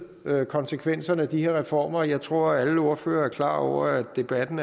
konsekvenserne af de her reformer jeg tror at alle ordførere er klar over at debatten